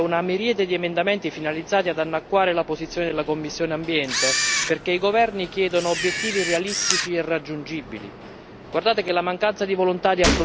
Eppure, come al solito arrivano in plenaria una miriade di emendamenti finalizzati ad annacquare la posizione della commissione Ambiente, perché i governi chiedono obiettivi irrealistici e irraggiungibili.